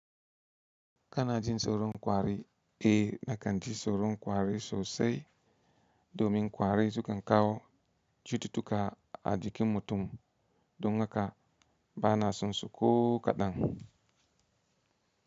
Kana jin tsoron kwari, e da nakan ji tsoron kwari sosai domin kwari su kan kawo cututtuka a jikin mutum, don haka ba na son su ko kaɗan.